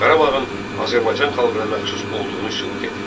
Qarabağın Azərbaycan xalqına məxsus olduğunu sübut edir.